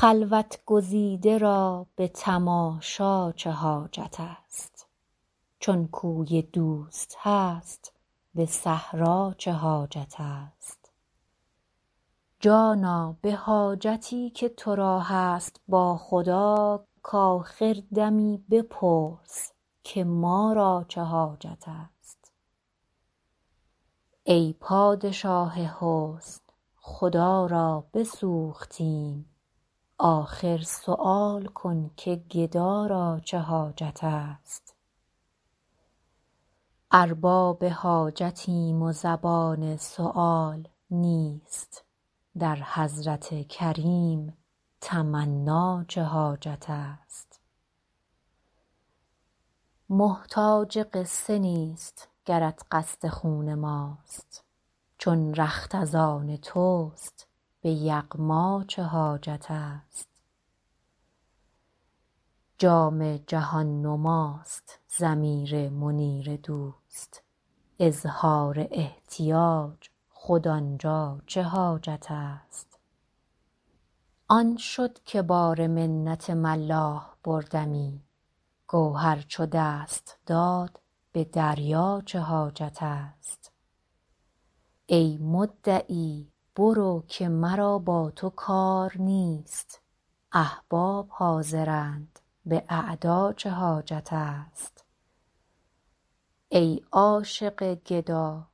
خلوت گزیده را به تماشا چه حاجت است چون کوی دوست هست به صحرا چه حاجت است جانا به حاجتی که تو را هست با خدا کآخر دمی بپرس که ما را چه حاجت است ای پادشاه حسن خدا را بسوختیم آخر سؤال کن که گدا را چه حاجت است ارباب حاجتیم و زبان سؤال نیست در حضرت کریم تمنا چه حاجت است محتاج قصه نیست گرت قصد خون ماست چون رخت از آن توست به یغما چه حاجت است جام جهان نماست ضمیر منیر دوست اظهار احتیاج خود آن جا چه حاجت است آن شد که بار منت ملاح بردمی گوهر چو دست داد به دریا چه حاجت است ای مدعی برو که مرا با تو کار نیست احباب حاضرند به اعدا چه حاجت است ای عاشق گدا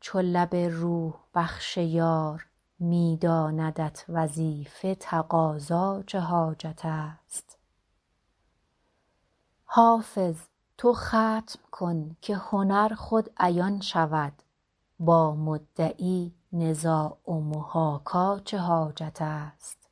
چو لب روح بخش یار می داندت وظیفه تقاضا چه حاجت است حافظ تو ختم کن که هنر خود عیان شود با مدعی نزاع و محاکا چه حاجت است